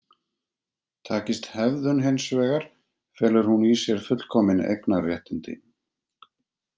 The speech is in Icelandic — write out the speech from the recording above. Takist hefðun hins vegar felur hún í sér fullkomin eignarréttindi.